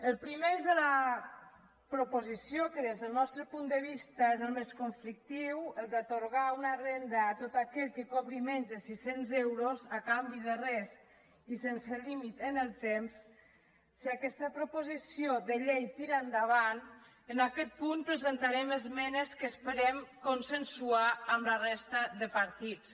al primer eix de la proposició que des del nostre punt de vista és el més conflictiu el d’atorgar una renda a tot aquell que cobri menys de sis cents euros a canvi de res i sense límit en el temps si aquesta proposició de llei tira endavant en aquest punt presentarem esmenes que esperem consensuar amb la resta de partits